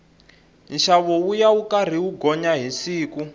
nxavo wuya wu karhi wu gonya hi siku